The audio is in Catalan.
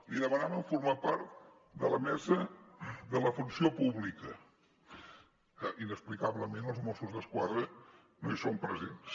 li demanaven formar part de la mesa de la funció pública que inexplicablement els mossos d’esquadra no hi són presents